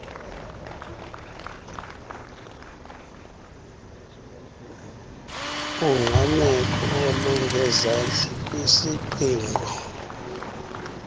ungqameko olungezantsi kwisiqingqo